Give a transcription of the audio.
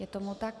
Je tomu tak.